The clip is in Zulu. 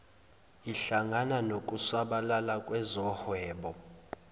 ihlangana nokusabalala kwezohwebo